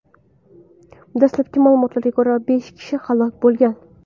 Dastlabki ma’lumotlarga ko‘ra, besh kishi halok bo‘lgan.